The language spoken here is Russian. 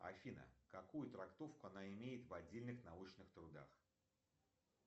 афина какую трактовку она имеет в отдельных научных трудах